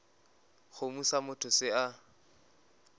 kgomo sa motho se a